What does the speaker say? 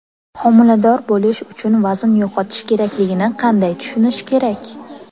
Homilador bo‘lish uchun vazn yo‘qotish kerakligini qanday tushunish kerak?